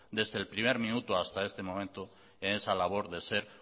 desde el primer minuto hasta este momento en esa labor de ser